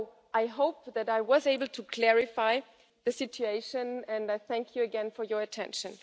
I hope that I was able to clarify the situation, and I thank you again for your attention.